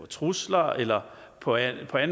trusler eller på anden